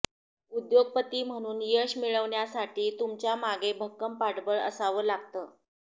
उद्योगपती म्हणून यश मिळवण्यासाठी तुमच्या मागे भक्कम पाठबळ असावं लागतं